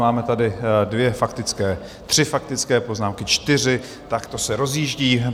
Máme tady dvě faktické, tři faktické poznámky, čtyři, tak to se rozjíždí.